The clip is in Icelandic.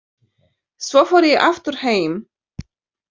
Svo fór ég aftur heim.